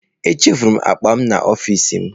Echefuru m akpa m n'ọfịsi m.